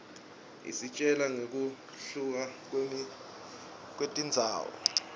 isitjela ngekuhluka kwetindzawo